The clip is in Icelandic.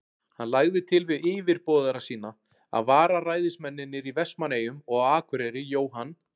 Hann lagði til við yfirboðara sína, að vararæðismennirnir í Vestmannaeyjum og á Akureyri, Jóhann